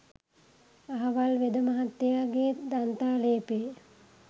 අහවල් වෙද මහත්තයාගේ දන්තාලේපේ